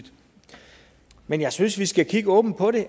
men jeg synes vi skal kigge åbent på det